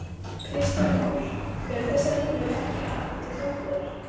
Kristján Már: Eru þessar línur ekki að, til frambúðar?